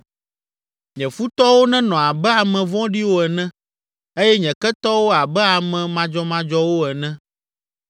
“Nye futɔwo nenɔ abe ame vɔ̃ɖiwo ene eye nye ketɔwo abe ame madzɔmadzɔwo ene!